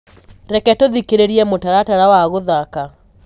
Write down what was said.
reke tuthikiririe mũtaratara wa guthaka